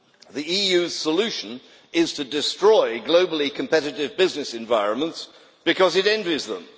The EU's solution is to destroy globally competitive business environments because it envies them.